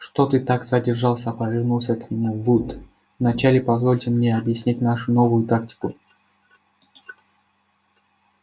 что ты так задержался повернулся к нему вуд вначале позвольте мне объяснить нашу новую тактику